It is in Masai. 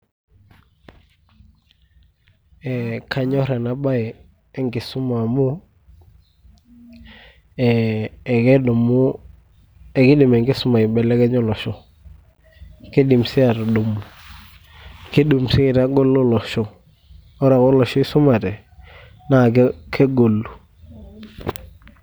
Eeh kanyorr ena bae enkisoma amu, eeh ekeidim enkisuma aibelekenya olosho, Kidim sii atudumu, kiidim sii aitagolo olosho. Ore ake olosho oisumate naa kegolu.